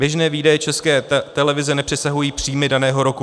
Běžné výdaje České televize nepřesahují příjmy daného roku.